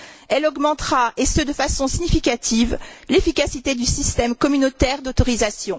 Elle augmentera, de façon significative, l'efficacité du système communautaire d'autorisation.